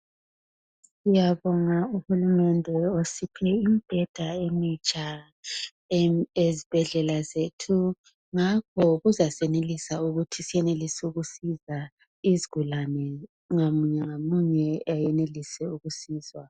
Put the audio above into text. ngiyabonga uhulumende osiphe imbheda emitsha ezibhedlela zethu ngakho kuzasenelisa ukuthi senelise ukusiza izigulane ngamunye ngamunye ayenelise ukusizwa